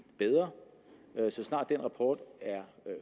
bedre så snart den rapport er